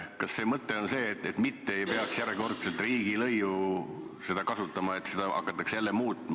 Kas mõte on see, et ei peaks hakkama järjekordselt riigilõivuseadust muutma?